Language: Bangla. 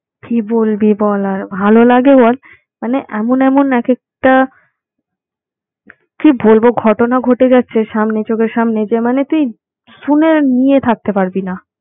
কি বলবি বল আর ভাল লাগে বল? মানে এমন এমন একেকটা কি বলব ঘটনা ঘটে যাচ্ছে সামনে চোখের সামনে যে মানে তুই শুনে নিয়ে থাকতে পারবি না।